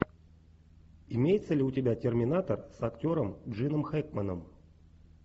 имеется ли у тебя терминатор с актером джином хэкменом